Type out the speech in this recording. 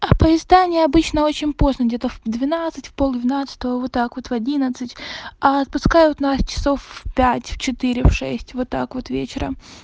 поезда они обычно очень поздно где-то в двенадцать в полдвенадцатого вот так вот в одиннадцать а отпускают нас часов в пять в четыре в шесть вот так вот вечером